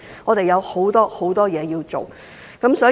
我們有很多事情要做。